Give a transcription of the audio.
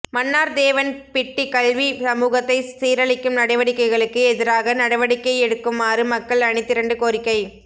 மன்னார் தேவன் பிட்டி கல்வி சமூகத்தை சீரழிக்கும் நடவடிக்கைகளுக்கு எதிராக நடவடிக்கை எடுக்குமாறு மக்கள் அணிதிரண்டு கோரிக்கை